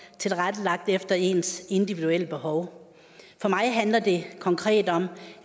tilrettelagt efter ens individuelle behov for mig handler det konkret om